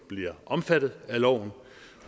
bliver omfattet af loven